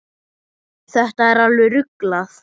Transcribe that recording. Þetta er alveg ruglað.